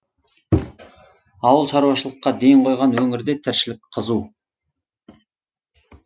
ауыл шаруашылыққа ден қойған өңірде тіршілік қызу